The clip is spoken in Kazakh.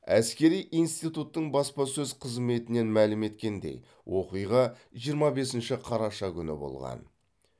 әскери интитуттың баспасөз қызметінен мәлім еткендей оқиға жиырма бесінші қараша күні болған